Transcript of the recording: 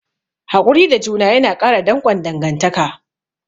Hakuri da juna yana ƙara danƙon dangantaka.